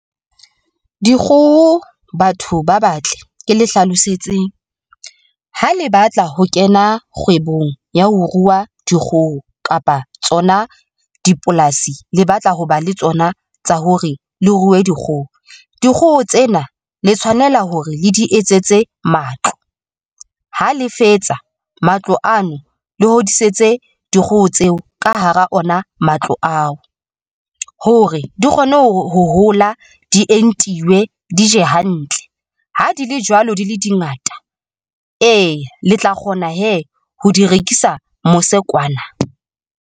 Dikgoho batho ba batle ke le hlalosetseng ha le batla ho kena kgwebong ya ho rua dikgoho kapa tsona dipolasi le batla ho ba le tsona tsa hore le ruwe dikgoho. Dikgoho tsena le tshwanela hore le di etsetse matlo ha le fetsa matlo ano le hodisitse dikgoho tseo ka hara ona matlo ao hore di kgone ho hola, di entiwe, di je hantle ha di le jwalo di le di ngata ee, le tla kgona hee! ho di rekisa mose kwana.